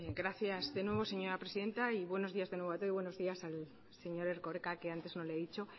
gracias de nuevo señora presidenta y buenos días de nuevo a todos y buenos a días al señor erkoreka que antes no le he dicho